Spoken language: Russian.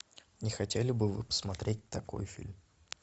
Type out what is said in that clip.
не хотели бы вы посмотреть такой фильм